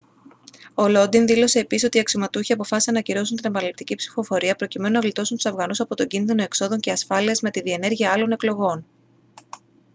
ο lodin δήλωσε επίσης ότι οι αξιωματούχοι αποφάσισαν να ακυρώσουν την επαναληπτική ψηφοφορία προκειμένου να γλιτώσουν τους αφγανούς από τον κίνδυνο εξόδων και ασφάλειας με τη διενέργεια άλλων εκλογών